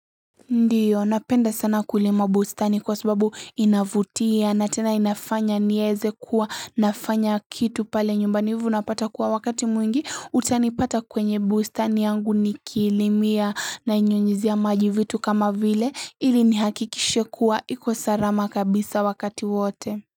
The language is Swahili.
Ndiyo napenda sana kulima bustani kwa sababu inavutia na tena inafanya nieze kuwa nafanya kitu pale nyumbani hivo unapata kuwa wakati mwingi utanipata kwenye bustani yangu nikilimia nainyunyuzia maji vitu kama vile ili nihakikishe kuwa iko sarama kabisa wakati wote.